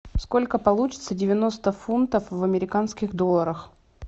сколько получится девяносто фунтов в американских долларах